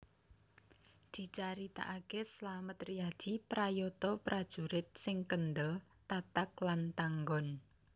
Dicaritakaké Slamet Riyadi prayata prajurit sing kendel tatag lan tanggon